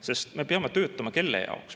Sest me peame töötama kelle heaks?